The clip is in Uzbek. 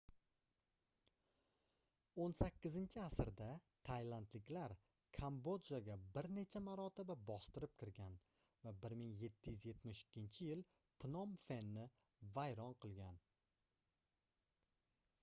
18-asrda taylandliklar kambodjaga bir necha marotaba bostirib kirgan va 1772-yil pnom fenni vayron qilgan